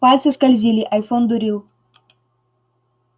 пальцы скользили айфон дурил